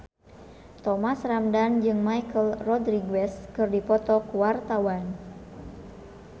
Thomas Ramdhan jeung Michelle Rodriguez keur dipoto ku wartawan